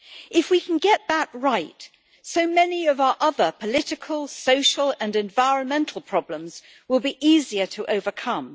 If we can get that right, so many of our other political, social and environmental problems will be easier to overcome.